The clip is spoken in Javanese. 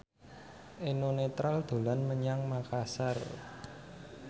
Eno Netral dolan menyang Makasar